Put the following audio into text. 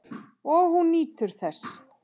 Og hún nýtur þess.